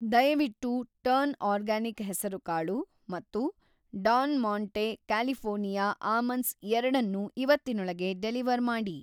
ದಯವಿಟ್ಟು‌ turn organic ಹೆಸರುಕಾಳು ಮತ್ತು ಡಾನ್‌ ಮಾಂಟೆ ಕ್ಯಾಲಿಫ಼ೋರ್ನಿಯಾ ಆಮಂಡ್ಸ್ ಎರಡನ್ನೂ ಇವತ್ತಿನೊಳಗೆ ಡೆಲಿವರ್‌ ಮಾಡಿ.